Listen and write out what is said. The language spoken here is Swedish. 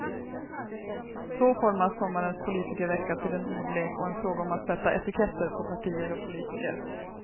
Så formas sommarens politikervecka till en ordlek och en fråga om att sätta etiketter på partier och politiker.